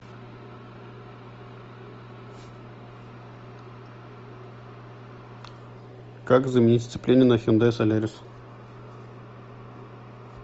как заменить сцепление на хендай солярис